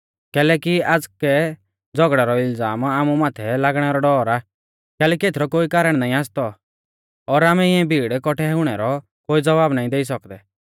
कैलैकि आज़कै झ़ौगड़ै रौ इलज़ाम आमु माथै लागणै रौ डौर आ कैलैकि एथरौ कोई कारण नाईं आसतौ और आमै इऐं भीड़ कौट्ठै हुणै रौ कोई ज़वाब नाईं देई सौकदै